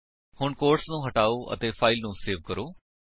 ਹੁਣ ਕੋਟਸ ਨੂੰ ਹਟਾਓ ਅਤੇ ਫਾਇਲ ਨੂੰ ਸੇਵ ਕਰੋ